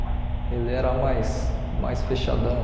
Ele era mais mais fechadão.